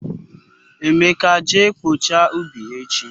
Emeka je kpochaa ubi echi